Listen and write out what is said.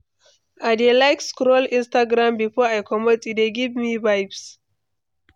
I dey like scroll Instagram before I comot; e dey give me vibes.